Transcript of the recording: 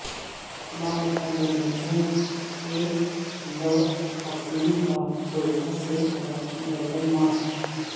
لاپتہ بلوچوں کے لواحقین کا کوئٹہ سے کراچی پیدل مارچ